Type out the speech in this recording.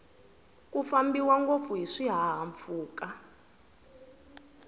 ku fambiwa ngopfu hiswi hahampfuka